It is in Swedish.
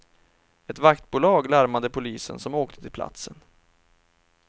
Ett vaktbolag larmade polisen som åkte till platsen.